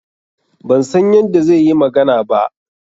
Ban san yadda zai yi magana ba.